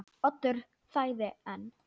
Oddur þagði enn.